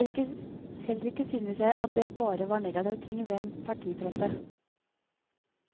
Heller ikke synes jeg at det bare var negative ting ved en partipresse.